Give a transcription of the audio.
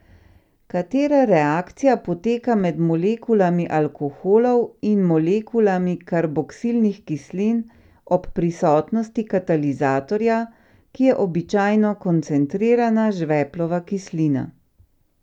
Katera reakcija poteka med molekulami alkoholov in molekulami karboksilnih kislin ob prisotnosti katalizatorja, ki je običajno koncentrirana žveplova kislina?